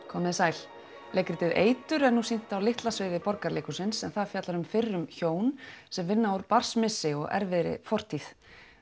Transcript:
komið þið sæl leikritið eitur er nú sýnt á litla sviði Borgarleikhússins en það fjallar um fyrrum hjón sem vinna úr barnsmissi og erfiðri fortíð